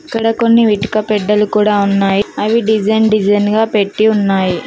ఇక్కడ కొన్ని ఇటుక బిడ్డలు కూడా ఉన్నాయి అవి డిజైన్ డిజైన్ గా పెట్టి ఉన్నాయి.